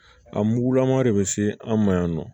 A mugulama de bɛ se an ma yan nɔ